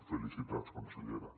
felicitats consellera